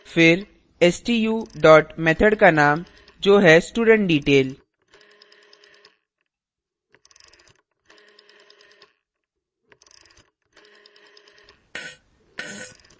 फिर stu dot method का name जो है studentdetail